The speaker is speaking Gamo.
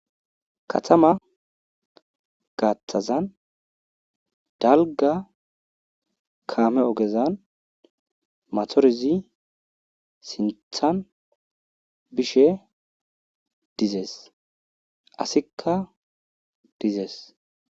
katama gaaththazan dalga kaame ogezan matorizi sinthan bishe dizees asikka dizees